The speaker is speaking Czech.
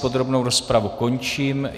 Podrobnou rozpravu končím.